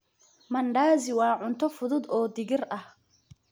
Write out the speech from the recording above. Mandazi waa cunto fudud oo digir ah.